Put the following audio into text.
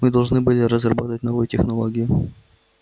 мы должны были разработать новую технологию